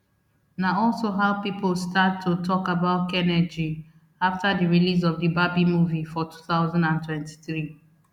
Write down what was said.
na also how pipo start to tok about kenergy afta di release of di barbie movie for two thousand and twenty-three